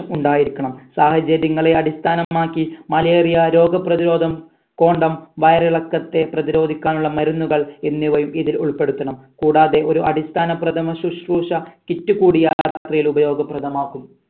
ഉണ്ടായിരിക്കണം സാഹചര്യങ്ങളെ അടിസ്ഥാനമാക്കി malaria രോഗപ്രതിരോധം condom വയറിളക്കത്തെ പ്രതിരോധിക്കാനുള്ള മരുന്നുകൾ എന്നിവയും ഇതിൽ ഉൾപ്പെടുത്തണം കൂടാതെ ഒരു അടിസ്ഥാന പ്രഥമ ശുശ്രൂഷ kit കൂടി യാത്രയിൽ ഉപയോഗ പ്രഥമാക്കും